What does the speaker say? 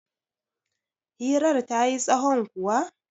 hirar ta yi tsahon kuwa?